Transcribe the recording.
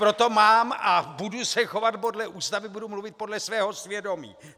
Proto mám a budu se chovat podle Ústavy, budu mluvit podle svého svědomí!